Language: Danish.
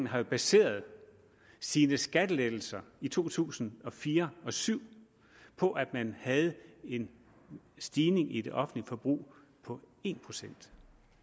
har baseret sine skattelettelser i to tusind og fire og syv på at man havde en stigning i det offentlige forbrug på en procent